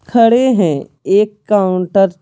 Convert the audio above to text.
खड़े हैं एक काउंटर --